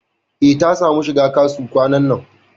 E, ta samu shiga KASU kwanan nan.